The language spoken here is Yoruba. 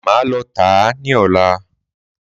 Máa lọ tà á ní ọ̀la.